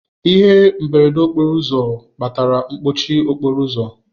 Ihe mberede okporo ụzọ kpatara mkpọchi okporo ụzọ.